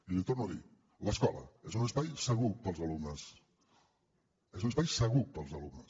i ho torno a dir l’escola és un espai segur per als alumnes és un espai segur per als alumnes